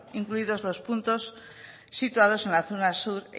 incluidos los puntos situados en la zona sur